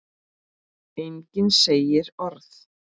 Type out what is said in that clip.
Enginn segir orð.